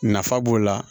Nafa b'o la